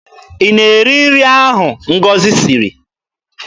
Ị na-eri nri ahụ Ngọzi siri?